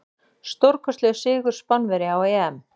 Stórkostlegur sigur Spánverja á EM.